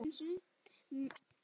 Magga gretti sig.